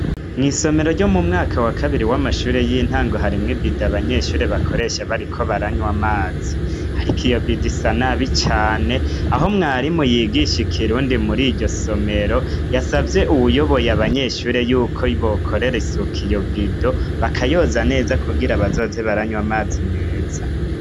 Mwisomero ryo mu mwaka wa kabiri w'amashuri y'intango harimwo ibido abanyeshure bakoresha bariko baranywa amazi ariko iyo bido isa nabi cane aho mwarimu yigisha ikirundi muri iryo somero yasavye uwuyoboye abanyeshure y'uko bokorera isuku iyo bido bakayoza neza kugira bazoze baranywa amazi meza.